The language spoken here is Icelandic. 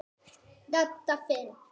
Dadda fimm.